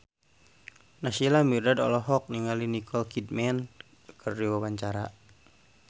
Naysila Mirdad olohok ningali Nicole Kidman keur diwawancara